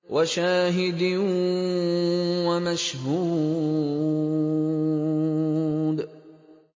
وَشَاهِدٍ وَمَشْهُودٍ